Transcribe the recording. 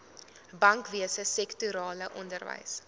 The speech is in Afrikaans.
bankwese sektorale onderwys